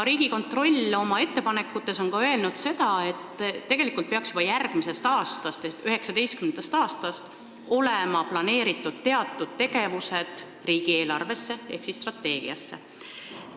Riigikontroll oma ettepanekutes on öelnud, et tegelikult peaks juba järgmisest ehk 2019. aastast olema teatud tegevused planeeritud riigieelarvesse ehk strateegiasse.